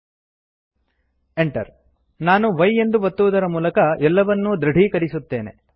Enter ನಾನು y ಎಂದು ಒತ್ತುವುದರ ಮೂಲಕ ಎಲ್ಲವನ್ನೂ ದೃಢೀಕರಿಸುತ್ತೇನೆ